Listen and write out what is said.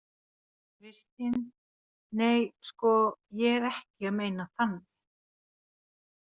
Kristín: Nei, sko ég er ekki að meina þannig.